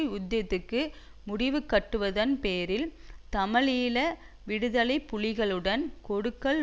யுத்தத்துக்கு முடிவுகட்டுவதன் பேரில் தமிழீழ விடுதலை புலிகளுடன் கொடுக்கல்